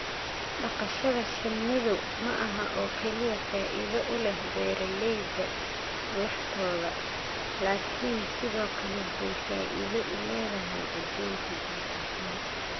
dhaqashada shinnidu maaha oo kaliya faa'iido u leh beeraleyda laftooda, laakiin sidoo kale waxay faa'iido u leedahay adduunka guud ahaan.